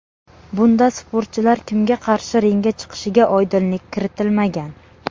Bunda sportchilar kimga qarshi ringga chiqishiga oydinlik kiritilmagan.